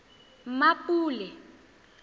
mmapule